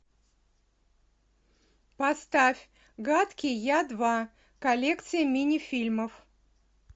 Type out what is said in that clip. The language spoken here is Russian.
поставь гадкий я два коллекция мини фильмов